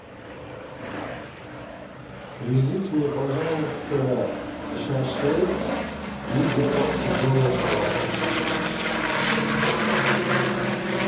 привезите мне пожалуйста шашлык и две порции зимнего салата